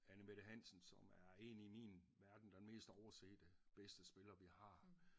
Anne Mette Hansen som er en i min verden den mest oversete bedste spiller vi har